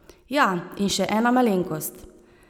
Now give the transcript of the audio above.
Ja, in še ena malenkost!